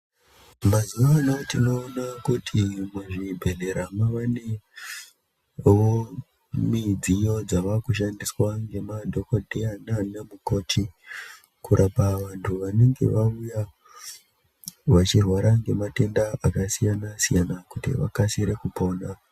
Mazuwano tinoona kuti muzvibhedhlera mavanewo midziyo dzavakushandiswa ngemadhokodheya nana mukoti kurapa vantu vanenge vauya vachirwara ngematenda akasiyana siyana kuti vakasire kupona.